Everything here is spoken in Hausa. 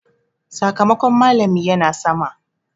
Sakamakon malami ya na sama.